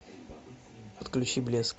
подключи блеск